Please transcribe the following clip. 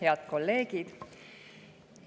Head kolleegid!